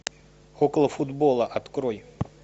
около футбола открой